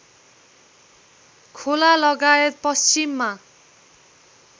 खोला लगायत पश्चिममा